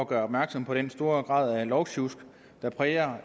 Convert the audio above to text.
gøre opmærksom på den store grad af lovsjusk der præger